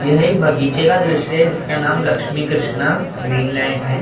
यह एक बगीचे का दृश्य हैं जिसका नाम लक्ष्मी कृष्णा ग्रीन लैंड हैं ऊपर मैं।